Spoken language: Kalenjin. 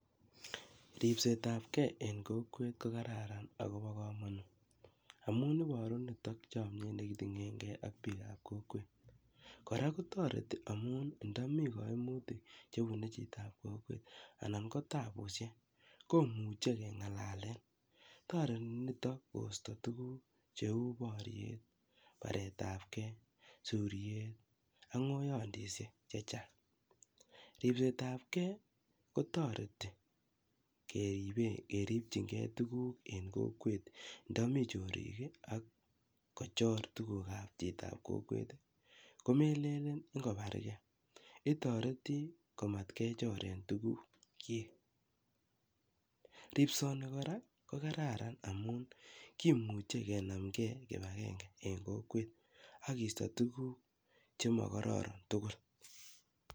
Ripsetap ge eng' kokwet ko kararan ako pa kamanut amun iparu nitok chamyet ne kitinyengei ak piik ap kokwet. Kora kotareti amun ndami kaimutik che pune chito ap kokwet anan ko tapushek ,ko muchi ke ng'alalen. Tareti nitok koista tuguk che u poryet, paret ap ge, suryet, ak ng'oiyandishek che chang'. Ripset apge kotareti keipe keripchingei tuguk eng' kokwet ndami chorik ak kochor tuguk ap chito ap kokwet i, komelen ngopargei. Itareti komatkechoren tuguukchik. Ripsani kora ko kararan amun kimuchi kenam gei kip agenge eng' kokwet ak keisat tuguk che makararan tugul.